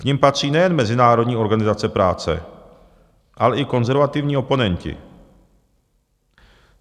K nim patří nejen Mezinárodní organizace práce, ale i konzervativní oponenti.